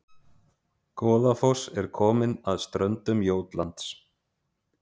Goðafoss er komin að ströndum Jótlands